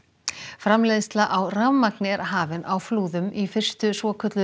framleiðsla á rafmagni er hafin á Flúðum í fyrstu svokölluðu